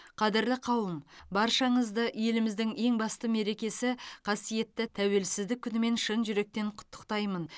қадірлі қауым баршаңызды еліміздің ең басты мерекесі қасиетті тәуелсіздік күнімен шын жүректен құттықтаймын